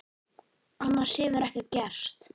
Annars hefur ekkert gerst